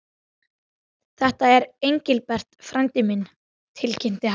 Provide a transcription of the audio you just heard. Þetta er Engilbert frændi minn tilkynnti hann.